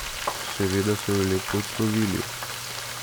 Seveda so jo lepo odslovili.